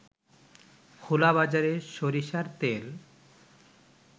খোলাবাজারে সরিষার তেল